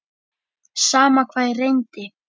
Sama hvað ég reyndi.